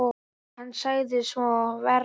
Hann sagði svo vera.